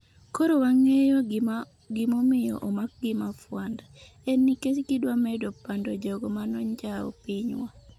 " koro wang'eyo gimomiyo omakgi mafwanda, en nikech gidwamedo pando jogo manonjawo pinywa"